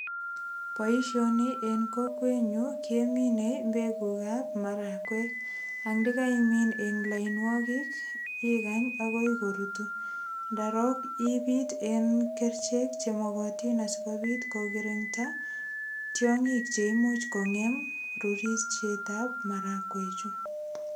Boishoni eng kokwenyu keminei mbekuk ap marakuek ang ndikaimin eng lainwokik ikany akoi korutu ndarok ibit eng kerchek che mokotin asikobit kokirinda tiong'ik che imuch kongem rurisiet ap marakwechu.